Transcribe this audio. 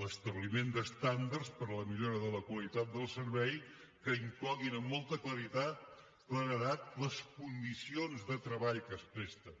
l’establiment d’estàndards per a la millora de la qualitat del servei que incloguin amb molta claredat les condicions de treball que es presten